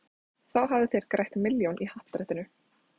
Þá hafið þér grætt milljón í happadrættinu.